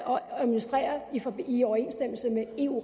administrere i overensstemmelse med eu